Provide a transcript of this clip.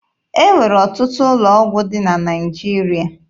E nwere ọtụtụ ụlọ ọgwụ dị na Naịjirịa.